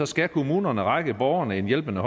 skal kommunerne række borgerne en hjælpende